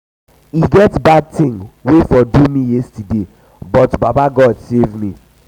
um e get bad thing wey for do um me yesterday um but baba god save me.